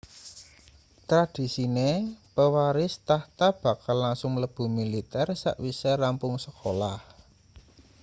tradisine pewaris tahta bakal langsung mlebu militer sakwise rampung sekolah